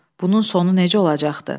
Bunun sonu necə olacaqdı?